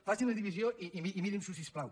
facin la divisió i mirin s’ho si us plau